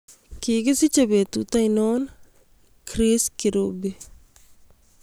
Kigisiche petut ainon Chris Kirubi